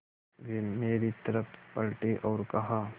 वे मेरी तरफ़ पलटे और कहा